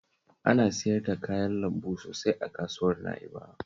Aya siyar da kayan lambu sosai a kasuwar Na'ibawa